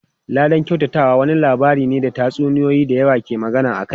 Ladan kyautatawa wani lamari ne da tatsuniyoyi da yawa ke magana akai.